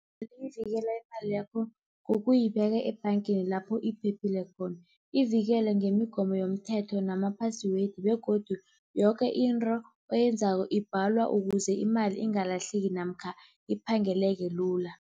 Liyivikela imali yakho ngokuyibeka ebhangeni lapho iphephile khona, ivikele ngemigomo yomthetho nama-password begodu yoke into oyenzako ibhalwa ukuze imali ingalahleki namkha iphangeleke lula.